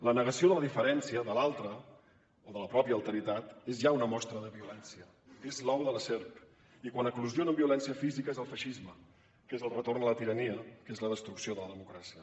la negació de la diferència de l’altre o de la pròpia alteritat és ja una mostra de violència és l’ou de la serp i quan fa eclosió amb violència física és el feixisme que és el retorn a la tirania que és la destrucció de la democràcia